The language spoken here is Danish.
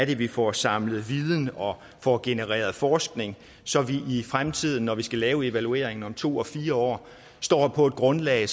vi får samlet viden og får genereret forskning så vi i fremtiden når vi skal lave evalueringen om to og fire år står på et grundlag